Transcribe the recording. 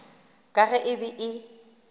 ka ge e be e